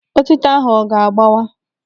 Otịto ahụ ọ ga-agbawa?